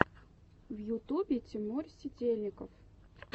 в ютубе тимур сидельников